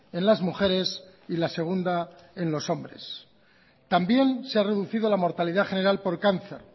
en las mujeres y la segunda en los hombres también se ha reducido la mortalidad general por cáncer